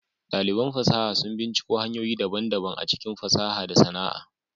Daliban fasaha sun binciko hanyoyi daban-daban a cikin fasaha da sana'a.